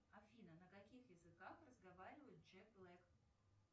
афина на каких языках разговаривает джек блэк